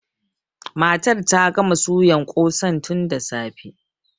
Matar ta gama suyan ƙosan tun da safe.